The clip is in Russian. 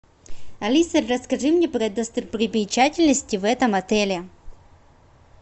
алиса расскажи мне про достопримечательности в этом отеле